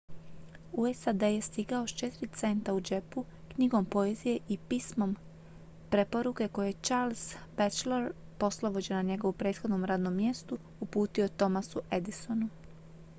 u sad je stigao s 4 centa u džepu knjigom poezije i pismom preporuke koje je charles batchelor poslovođa na njegovu prethodnom radnom mjestu uputio thomasu edisonu